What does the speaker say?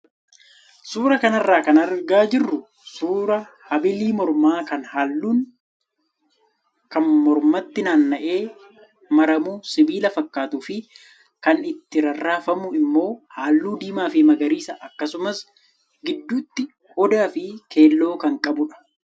Suuraa kanarraa kan argaa jirru suuraa habilii mormaa kan halluun kan mromatti naanna'ee maramuu sibiila fakkaatuu fi kan itti rarraafamu immoo halluu diimaa fi magariisa akkasumsa gidduutti odaa fi keelloo kan qabudha.